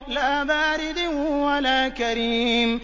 لَّا بَارِدٍ وَلَا كَرِيمٍ